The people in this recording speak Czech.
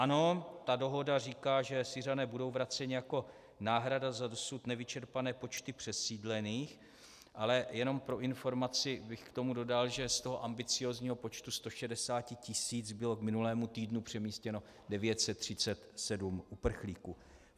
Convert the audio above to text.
Ano, ta dohoda říká, že Syřané budou vraceni jako náhrada za dosud nevyčerpané počty přesídlených - ale jenom pro informaci bych k tomu dodal, že z toho ambiciózního počtu 160 tisíc bylo k minulému týdnu přemístěno 937 uprchlíků.